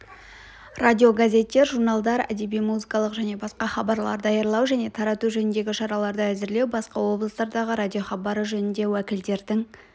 радиогазеттер журналдар әдеби-музыкалық және басқа хабарлар даярлау және тарату жөніндегі шараларды әзірлеу басқа облыстардағы радиохабары жөніндегі уәкілдердің